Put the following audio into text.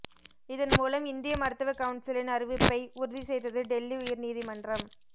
இதன் மூலம் இந்திய மருத்துவ கவுன்சிலின் அறிவிப்பை உறுதி செய்தது டெல்லி உயர்நீதிமன்றம்